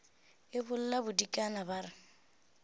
e bolla bodikana ba re